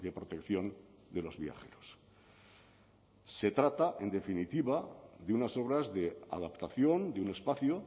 protección de los viajeros se trata en definitiva de unas obras de adaptación de un espacio